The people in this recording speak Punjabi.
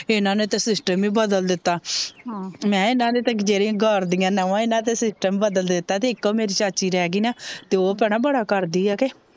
ਇਨਾਂ ਨੇ ਤਾਂ ਸਿਸਟਮ ਹੀ ਬਦਲ ਦਿੱਤਾ ਮੈ ਇਨਾਂ ਦੇ ਘਰ ਦਿਆ ਨੋਆ ਇਨਾਂ ਤਾਂ ਸਿਸਟਮ ਈ ਬਦਲ ਦਿੱਤਾ ਤੇ ਇੱਕੋ ਮੇਰੀ ਚਾਚੀ ਰਿਹਗੀ ਨਾਂ ਤੇ ਓਹ ਭੈਣੇ ਬੜਾ ਕਰਦੀ ਏ ਕੇ